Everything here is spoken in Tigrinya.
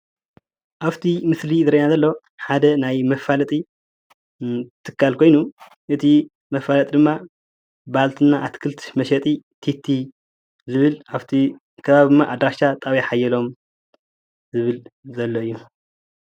ኣብቲ ምስሊ ዝረአየና ዘሎ ሓደ ናይ መፋለጢ ትካል ኮይኑ እቲ መፋለጢ ድማ ባልትና ኣትክልት መሸጢ ቲቲ ዝብል ኣብቲ ከባቢ ድማ ኣድራሻ ጣብያ ሓየሎም ዝብል ዘሎ እዩ፡፡